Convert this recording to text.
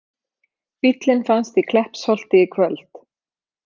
Bíllinn fannst í Kleppsholti í kvöld